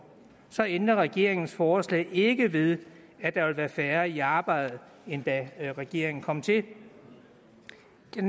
ændrer regeringens forslag ikke ved at der vil være færre i arbejde end da regeringen kom til det